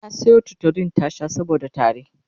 ta Sayo tutolin ta Sha saboda tari